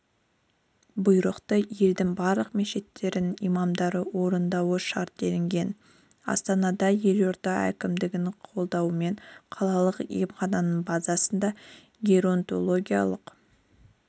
бұйрықты елдің барлық мешіттерінің имамдары орындауы шарт делінген астанада елорда әкімдігінің қолдауымен қалалық емхананың базасында геронтологиялық